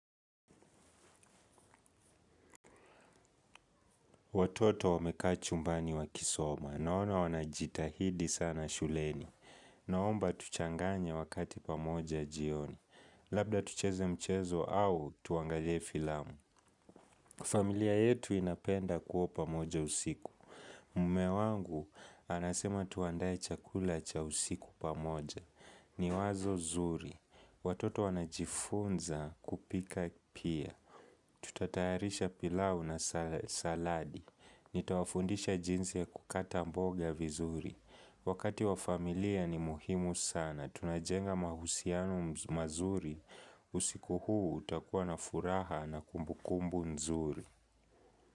Watoto wameka chumbani wa kisoma, naona wanajitahidi sana shuleni, naomba tuchanganye wakati pamoja jioni, labda tucheze mchezo au tuangalie filamu. Familia yetu inapenda kua pamoja usiku, mume wangu anasema tuandaye chakula cha usiku pamoja, ni wazo zuri. Watoto wanajifunza kupika pia. Tutatayarisha pilau na saladi. Nitawafundisha jinsi ya kukata mboga vizuri. Wakati wa familia ni muhimu sana. Tunajenga mahusiano mazuri. Usiku huu utakuwa na furaha na kumbukumbu nzuri.